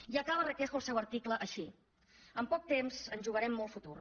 i acaba requejo el seu article així en poc temps ens jugarem molt futur